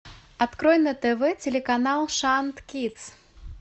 открой на тв телеканал шант кидс